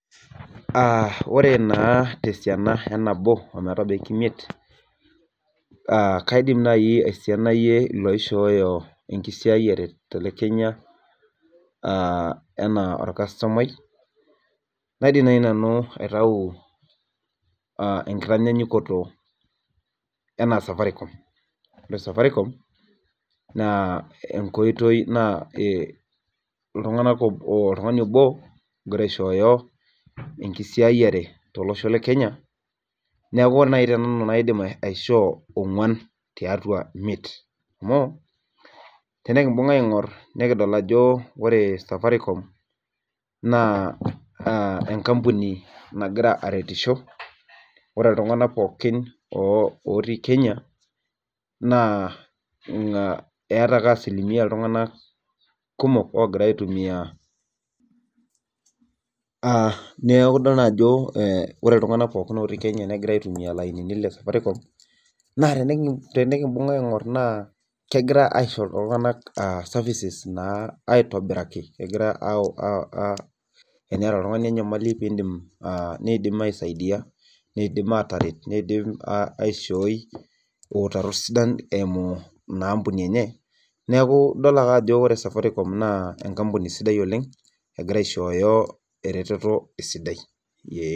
Aa ore naa tesiana enabo ometabaiki imiet, kaidim naaji aisinayie ilooishoyo enkisiayiare tena kenya.aa enaa olkastomiai. naidim naaji nanu aitau, enkitanyaanyukoto anaa safaricom. ore safaricom naa iltunganak oltungani obo ogira aishooyo enkisiayiare tolosho le kenya neeku, tenanu kaidim aishoo onguan tiatua imiet amu, tenikibunga aing'oru nikidol ajo ore safaricom, naa enkampuni naagira arrtisho ore iltunganak pookin, otii. kenya naa eeta ake asilimia iltunganak kumok oogira aitumia, aa neeku idol naa ajo ore iltunganak otii Kenya negira aitumia ilainini le safaricom. naa tenikinbung aing'or naa kegira aisho iltunganak services naa aitobiraki. teniata oltungani enyamali pee iidim. niidim aisaidia niidim aishooki iutarot, sidan eimu enkampuni enye. ore safaricom egira aishooyo eretoto esidai.